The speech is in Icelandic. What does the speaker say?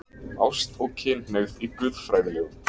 ÁST OG KYNHNEIGÐ Í GUÐFRÆÐILEGUM